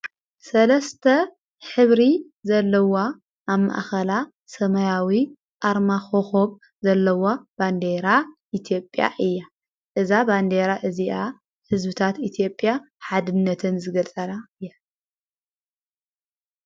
ሰለስተ ኅብሪ ዘለዋ ኣማእኸላ ሰማያዊ ኣርማኾኾም ዘለዋ ባንዴራ ኢቲዮጵያ እያ እዛ ባንዴይራ እዚኣ ሕዝብታት ኢቲዮጵያ ሓድነትን ዝገልጸና እያ።